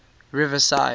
riverside